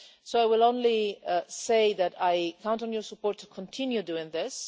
I will only say that I count on your support to continue doing this.